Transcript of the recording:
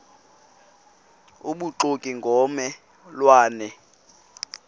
obubuxoki ngomme lwane